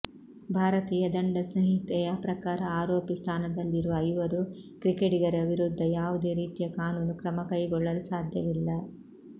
ಭಾರತೀಯ ದಂಡ ಸಂಹಿತೆಯ ಪ್ರಕಾರ ಆರೋಪಿ ಸ್ಥಾನದಲ್ಲಿರುವ ಐವರೂ ಕ್ರಿಕೆಟಿಗರ ವಿರುದ್ಧ ಯಾವುದೇ ರೀತಿಯ ಕಾನೂನು ಕ್ರಮ ಕೈಗೊಳ್ಳಲು ಸಾಧ್ಯವಿಲ್ಲ